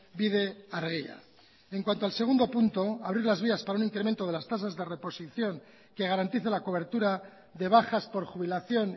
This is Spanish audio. bide argia en cuanto al segundo punto abrir las vías para un incremento de las tasas de reposición que garantice la cobertura de bajas por jubilación